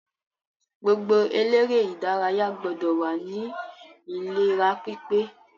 Gbogbo eléré ìdárayá gbọdọ̀ wà ní ìlera pípé.